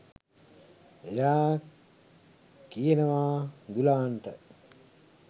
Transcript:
එයා කියනවා දුලාන්ට